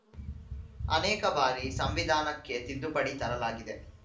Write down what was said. ಅನೇಕ ಬಾರಿ ಸಂವಿಧಾನಕ್ಕೆ ತಿದ್ದುಪಡಿ ತರಲಾಗಿದೆ